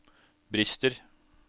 brister